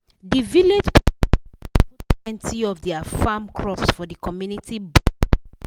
the village people join hand put plenty of their farm crops for the community box program.